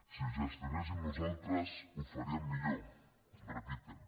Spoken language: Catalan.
si ho gestionéssim nosaltres ho faríem millor repiten